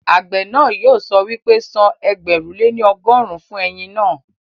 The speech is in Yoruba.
Àgbẹ̀ náà yóò sọ wípé, san ẹgbẹ̀rún lé ní ọgọ́rùn-ún fún ẹ̀yìn naa